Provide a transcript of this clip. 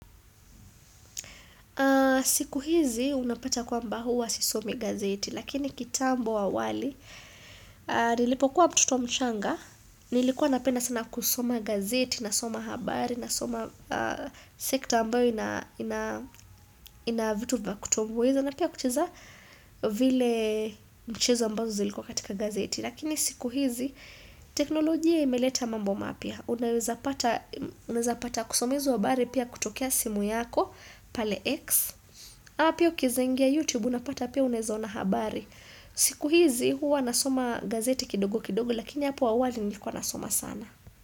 Siku hizi unapata kwamba huwa sisomi gazeti lakini kitambo awali nilipo kuwa mtoto mchanga nilikuwa napedna sana kusoma gazeti nasoma habari nasoma sekta ambayo ina vitu vyakutoviweza na pia kucheza vile mchezo ambazo zilikuwa katika gazeti lakini siku hizi teknolojia imeleta mambo mapya. Unaweza pata kusoma hizo habari pia kutokea simu yako pale X ama pia ukiezaingia YouTube unapata pia unaezaona habari siku hizi huwa nasoma gazeti kidogo kidogo Lakini hapo awali nilikuwa nasoma sana.